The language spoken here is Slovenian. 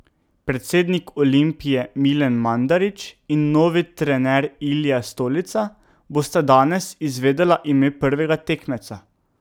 Predsednik Olimpije Milan Mandarić in novi trener Ilija Stolica bosta danes izvedela ime prvega tekmeca.